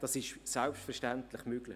Das ist selbstverständlich möglich.